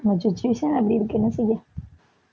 நம்ம situation அப்படி இருக்கு என்ன செய்ய